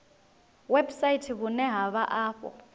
website vhune ha vha afho